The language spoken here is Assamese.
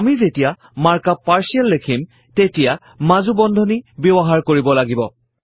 আমি যেতিয়া মাৰ্ক আপ পাৰ্টিয়েল লিখিম তেতিয়া মাজু বন্ধনীৰ ব্যৱহাৰ কৰিব লাগিব